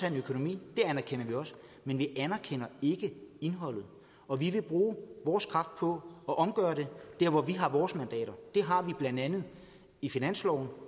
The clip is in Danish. en økonomi det anerkender vi også men vi anerkender ikke indholdet og vi vil bruge vores kræfter på at omgøre det der hvor vi har vores mandater og det har vi blandt andet i finansloven